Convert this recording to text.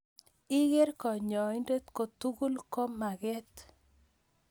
Iker kanyoindet kotugul ko magat